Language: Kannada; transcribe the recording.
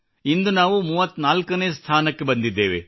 ಇಂದು ನಮ್ಮ ಸ್ಥಾನ 34 ರಲ್ಲಿದೆ